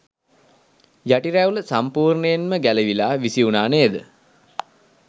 යටි රැවුල සම්පුර්ණයෙන්ම ගැලවිලා විසිවුණා නේද.